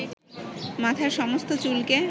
মাথার সমস্ত চুলকে